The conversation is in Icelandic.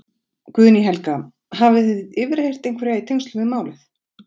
Guðný Helga: Hafið þið yfirheyrt einhverja í tengslum við málið?